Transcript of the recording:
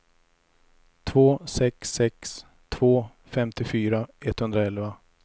två sex sex två femtiofyra etthundraelva